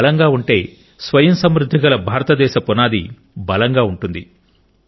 వారు బలంగా ఉంటే స్వయం సమృద్ధిగల భారతదేశం పునాది బలంగా ఉంటుంది